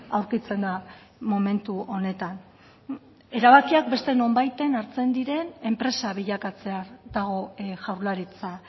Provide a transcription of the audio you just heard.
aurkitzen da momentu honetan erabakiak beste nonbaiten hartzen diren enpresa bilakatzear dago jaurlaritza